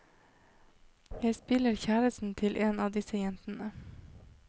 Jeg spiller kjæresten til en av disse jentene.